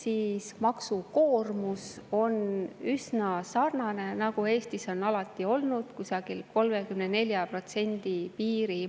Ent maksukoormus on üsna sarnane, nagu see Eestis on alati olnud, kusagil 34% piirimail.